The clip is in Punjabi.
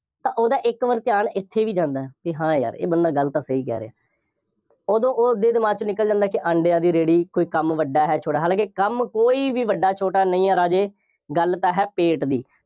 ਤਾਂ ਉਹਦਾ ਇੱਕ ਵਾਰ ਧਿਆਨ ਇੱਥੇ ਵੀ ਜਾਂਦਾ ਹੈ, ਕਿ ਹਾਂ ਯਾਰ ਇਹ ਬੰਦਾ ਗੱਲ ਤਾਂ ਸਹੀ ਕਹਿ ਰਿਹਾ ਉਦੋਂ ਉਸਦੇ ਦਿਮਾਗ ਚੋਂ ਨਿਕਲ ਜਾਂਦਾ ਕਿ ਅੰਡਿਆਂ ਦੀ ਰੇਹੜੀ ਕੋਈ ਕੰਮ ਵੱਡਾ ਹੈ, ਛੋਟਾ ਹੈ, ਲੇਕਿਨ ਕੰਮ ਕੋਈ ਵੀ ਵੱਡਾ ਜਾਂ ਛੋਟਾ ਨਹੀਂ ਹੈ, ਰਾਜੇ, ਗੱਲ ਤਾਂ ਹੈ ਪੇਟ ਦੀ,